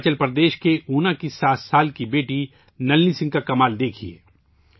ہماچل پردیش کے اونا کی 7 سالہ بیٹی نلنی سنگھ کا کمال دیکھئے